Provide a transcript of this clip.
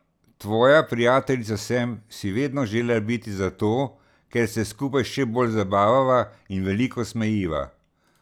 Tvoja prijateljica sem si vedno želela biti zato, ker se skupaj še bolj zabavava in veliko smejiva.